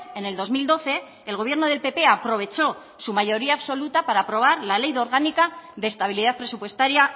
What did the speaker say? en el dos mil doce el gobierno del pp aprovechó su mayoría absoluta para aprobar la ley orgánica de estabilidad presupuestaria